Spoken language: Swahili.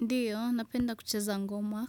Ndiyo, napenda kucheza ngoma.